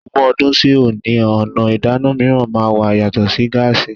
Ogún ọdún sí òní, ọ̀nà ìdáná mìíràn máa wà yàtọ̀ sí gáàsí.